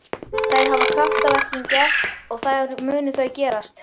Þar hafa kraftaverkin gerst og þar munu þau gerast.